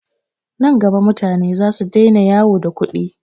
Nan gaba mutane zasu daina yawo da kuɗi.